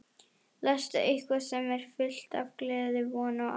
Lestu eitthvað sem er fullt af gleði, von og ást.